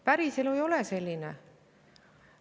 Päriselu ei ole selline.